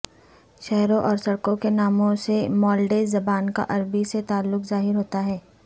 شہروں اور سڑکوں کے ناموں سے مالٹیز زبان کا عربی سے تعلق ظاہر ہوتا ہے